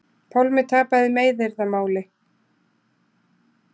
Pálmi tapaði meiðyrðamáli